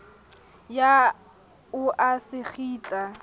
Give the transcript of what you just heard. ya o a se kgitla